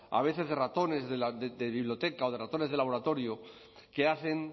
a veces de ratones de biblioteca o de ratones de laboratorio que hacen